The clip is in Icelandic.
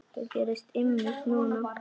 Og það gerðist einmitt núna!